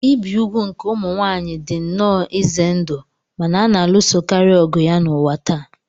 Ibi úgwù nke ụmụ nwaanyị dị nnọọ ize ndụ ma na a na-alụsokarị ọgụ ya n'ụwa taa.